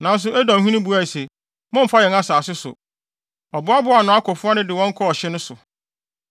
Nanso Edomhene buae se, “Mommfa yɛn asase so!” Ɔboaboaa nʼakofo ano de wɔn kɔɔ ɔhye no so.